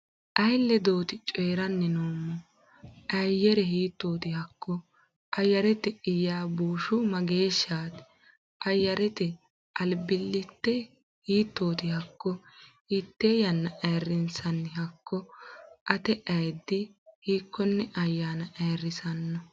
iyi-leedoti choorani nnomohu? Ayyare hiittoti hakko? Ayyarete iybashuu maggashshati? Ayyarete albillite hiittoti hakko? Hiitee ayaanna ayiriinsaani hakko? Atee-ayddi hiikoonne ayaana ayiriisaano?